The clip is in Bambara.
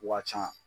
Waa can